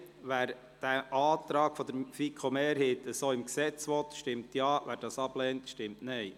Wer den Antrag der FiKo-Mehrheit so im Gesetz haben will, stimmt Ja, wer dies ablehnt, stimmt Nein.